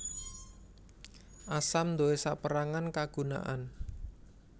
Asam duwé sapérangan kagunaan